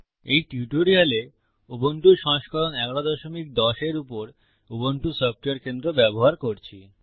এই টিউটোরিয়ালে উবুন্টু সংস্করণ 1110 এর উপর উবুন্টু সফটওয়্যার কেন্দ্র ব্যবহার করছি